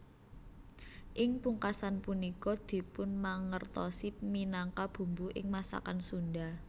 Ing pungkasan punika dipunmangertosi minangka bumbu ing masakan Sunda